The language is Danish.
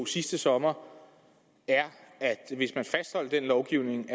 sidste sommer er at hvis man fastholder den lovgivning